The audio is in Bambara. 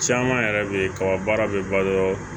Caman yɛrɛ be kaba baara bɛ balo